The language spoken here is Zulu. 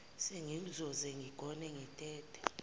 sengizoke ngigone ngitete